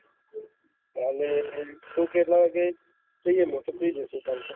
અમે એમ તું કેહ એટલા વાગે જયીયે